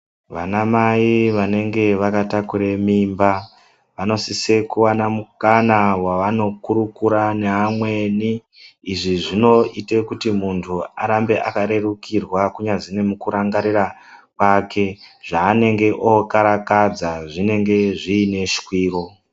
Vanamai vanenge vakatakure minba vanosise kuwana mukana wavanokurukure neamweni izvi zvinoite kuti muntu arambe akarerukirwa kunyazi nemukurangarira kwake zvaanenge okarakadza zvinenge zviine shwiro.